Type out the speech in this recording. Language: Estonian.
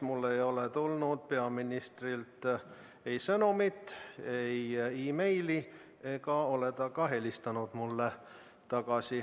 Mulle ei ole tulnud peaministrilt ei sõnumit, ei meili ega ole ta ka mulle tagasi helistanud.